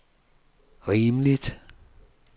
rimeligt